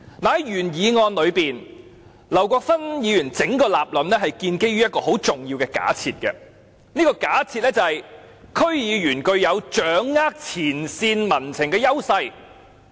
在原議案中，劉國勳議員的整個立論建基於一個很重要的假設，便是區議員具有掌握前線民情的優勢。